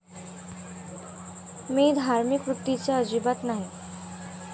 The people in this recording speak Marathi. मी धार्मिक वृत्तीचा अजिबात नाही.